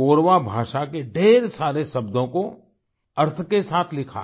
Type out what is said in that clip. कोरवा भाषा के ढेर सारे शब्दों को अर्थ के साथ लिखा है